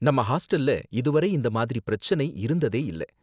நம்ம ஹாஸ்டல்ல இது வரை இந்த மாதிரி பிரச்சனை இருந்ததே இல்ல